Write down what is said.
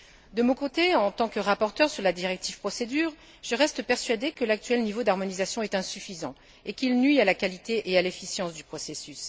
De mon côté, en tant que rapporteure sur la directive procédure, je reste persuadée que l'actuel niveau d'harmonisation est insuffisant et nuit à la qualité et à l'efficience du processus.